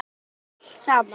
Þetta allt saman.